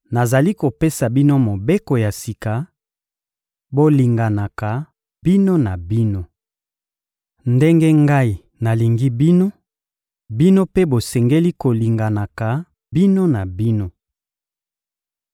Nazali kopesa bino mobeko ya sika: Bolinganaka bino na bino. Ndenge Ngai nalingi bino, bino mpe bosengeli kolinganaka bino na bino.